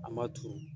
An ma turu